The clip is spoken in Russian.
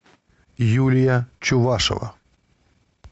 юлия чувашева